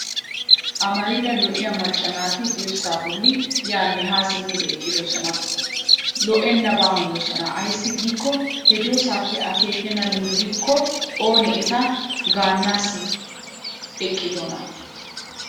Amarida lo''iyaa macca naati dirssaa bolli yaanne haa simmidi eqqidosona. Lo''ennaba hanoosona ayssi giikko he diyoosaappe akkeekennan wullikko Oona iita gaanaassi eqqidonaa.